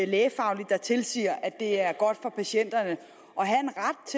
lægefagligt der tilsiger at det er godt for patienterne